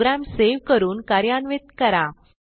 program save करून कार्यान्वित करा